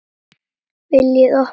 VILJIÐI OPNA!